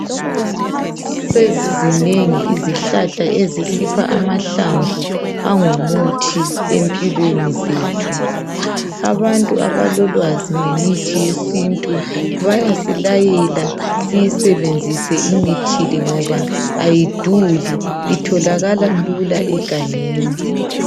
Sezizinengi izihlahla ezisipha amahlamvu angumuthi empilweni zethu. Abantu abalolwazi ngemithi yesintu bayasilayela siyisebenzise imithi le ngoba ayiduli itholakala lula egangeni.